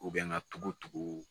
U bɛ n ka togo togo